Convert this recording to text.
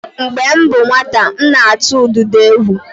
Mgbe m bụ nwata, m na-atụ ududo egwu.